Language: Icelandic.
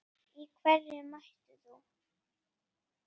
Í hverju mætir þú?